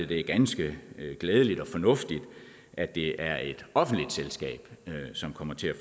det er ganske glædeligt og fornuftigt at det er et offentligt selskab som kommer til at